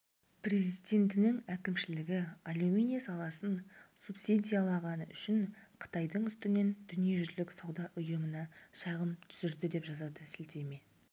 президентінің әкімшілігі алюминий саласын субсидиялағаны үшін қытайдың үстінен дүниежүзілік сауда ұйымына шағым түсірді деп жазады сілтеме